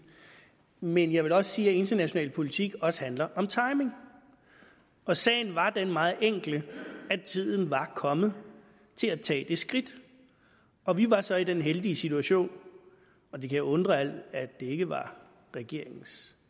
men jeg vil da også sige at international politik også handler om timing og sagen var den meget enkle at tiden var kommet til at tage det skridt og vi var så i den heldige situation og det kan undre at det ikke var regeringens